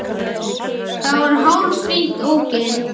Það var hárfínt ógilt.